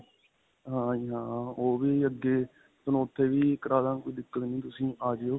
ਹਾਂਜੀ ਹਾਂ. ਓਹ ਵੀ ਅੱਗੇ ਤੁਹਾਨੂੰ ਉੱਥੇ ਵੀ ਕਰਾਦਾਗਾਂ ਕੋਈ ਦਿੱਕਤ ਨਹੀਂ ਤੁਸੀਂ ਆਜਿਓ.